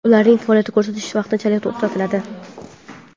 ularning faoliyat ko‘rsatishi vaqtinchalik to‘xtatiladi.